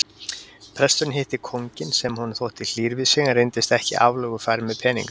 Presturinn hitti kónginn sem honum þótti hlýr við sig en reyndist ekki aflögufær með peninga.